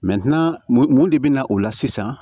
mun mun de bɛ na o la sisan